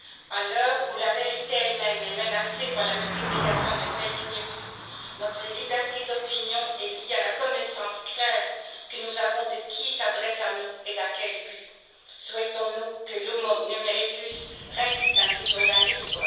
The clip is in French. À l'heure où la vérité elle même est menacée par la multiplication des infox, notre liberté d'opinion est liée à la connaissance claire que nous avons de qui s'adresse à nous et dans quel but. Souhaitons nous que l'homo numericus reste un citoyen libre?